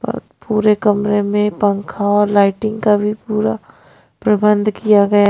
औरपूरे कमरे में पंखा और लाइटिंग का भी पूरा प्रबंध किया गया।